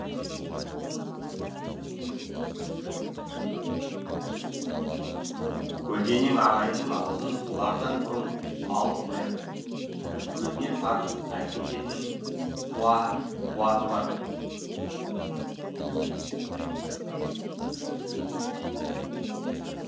көлденең ағайынның аузын бұлардан бұрын алып қоятын өзіне тартып әкететін қуаты бар